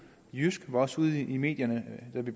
jysk var også ude i medierne da vi